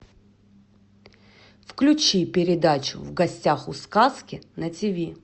включи передачу в гостях у сказки на тиви